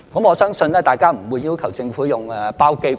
我相信大家不會要求政府用包機吧？